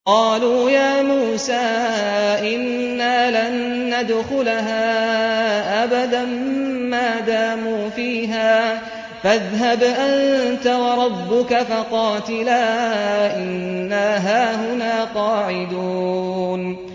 قَالُوا يَا مُوسَىٰ إِنَّا لَن نَّدْخُلَهَا أَبَدًا مَّا دَامُوا فِيهَا ۖ فَاذْهَبْ أَنتَ وَرَبُّكَ فَقَاتِلَا إِنَّا هَاهُنَا قَاعِدُونَ